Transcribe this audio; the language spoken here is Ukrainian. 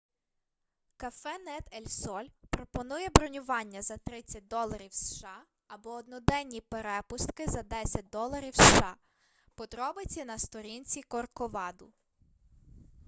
кафенет ель соль пропонує бронювання за 30 доларів сша або одноденні перепустки за 10 доларів сша подробиці на сторінці корковаду